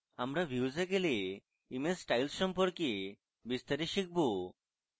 আমরা views we গেলে image styles সম্পর্কে বিস্তারে শিখব